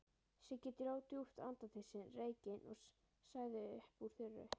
Siggi dró djúpt til sín reykinn og sagði uppúr þurru